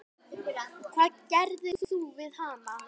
Hvað gerðir þú við hana?